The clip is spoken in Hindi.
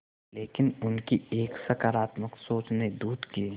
लेकिन उनकी एक सकरात्मक सोच ने दूध के